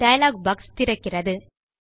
dialogue box திறக்கிறது